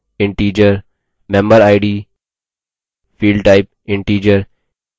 member id field type integer